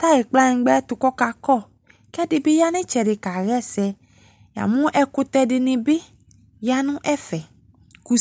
tayi kplanyingba to kɔka kɔ, ko ɛde be ya no itsɛde kaha ɛsɛ Ya mu ɛkutɛ de ne be ya no ɛfɛ kuss